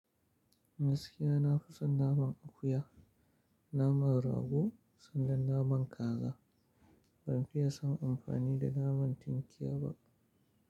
Gaskiya na fi son naman akuya, naman rago sannan naman kaza. Ban fiye son amfani da naman tinkiya ba.